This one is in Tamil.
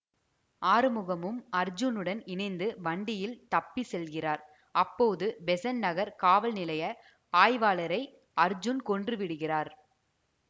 ஆறுமுகமும் அர்ஜுனுடன் இணைந்து வண்டியில் தப்பி செல்கிறார் அப்போது பெசன்ட் நகர் காவல் நிலைய ஆய்வாளரை அர்ஜுன் கொன்றுவிடுகிறார்